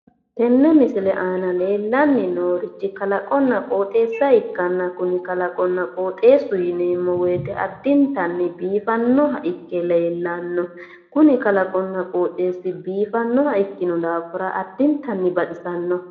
Tenne misile iima leellanni noorichi kalaqonna qooxeessa ikkanna kuni kalaqunna qooxeessu addintanni biifannoha ikke leellanno, kuni kalaqunna qooxeessu biiffannoha ikkino daafira addintanni baxisanno.